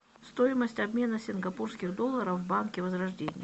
стоимость обмена сингапурских долларов в банке возрождение